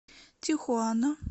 тихуана